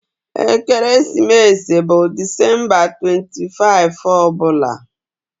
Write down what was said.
Ekeresimesi bụ Disemba 25 ọ bụla